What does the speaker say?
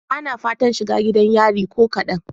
Bana fatan shiga gidan yari ko kadan.